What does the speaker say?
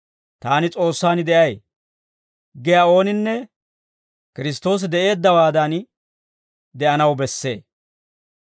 «Taani, S'oossaan de'ay» giyaa ooninne Kiristtoosi de'eeddawaadan de'anaw bessee.